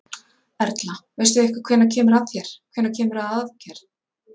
Erla: Veistu eitthvað hvenær kemur að þér, hvenær kemur að aðgerð?